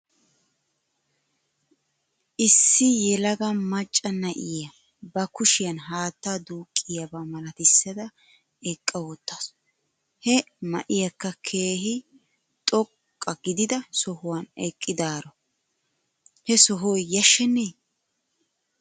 Issi yelaga macca na'iyaa ba kushiyan haattaa duuqqiyaaba malatissada eqqawttasu. He ma'iyaakka keehi xoqqa gidida sohuwan eqqidaaro he sohoy yashshenee?